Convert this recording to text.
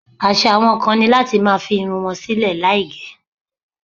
Àṣà àwọn kan ni láti máa fi irun wọn sílè láì gẹ̀.